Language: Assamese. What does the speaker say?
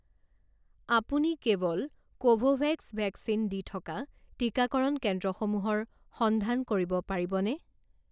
আপুনি কেৱল কোভোভেক্স ভেকচিন দি থকা টিকাকৰণ কেন্দ্ৰসমূহৰ সন্ধান কৰিব পাৰিবনে?